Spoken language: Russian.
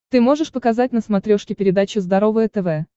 ты можешь показать на смотрешке передачу здоровое тв